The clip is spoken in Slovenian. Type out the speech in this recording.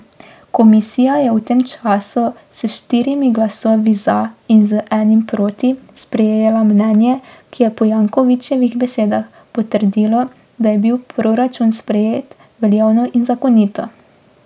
Komisija je v tem času s štirimi glasovi za in z enim proti sprejela mnenje, ki je po Jankovićevih besedah potrdilo, da je bil proračun sprejet veljavno in zakonito.